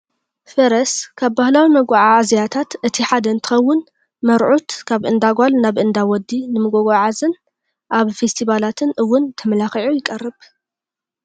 ፈረስ ካብ ባህላዊ መጓዓዓዝያታት እቲ ሓደ እትኸውን መርዑት ካብ እንዳ ጓል ናብ እንዳ ወዲ ንምጉዕዓዝን ኣብ ፌስቲባላትን እውን ተመላኪዑ ይቀርቡ።